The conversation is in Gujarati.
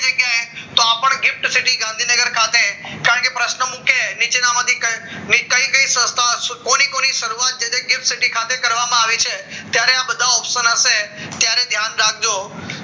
તો આ પણ green city ગાંધીનગર ખાતે કારણકે પ્રશ્નો મૂકે નીચેનામાંથી કઈ કઈ સંસ્થા કોની કોની શરૂઆત જે છે green city ખાતે કરવામાં આવી છે ત્યારે આ બધા option હશે ત્યારે ધ્યાન રાખજો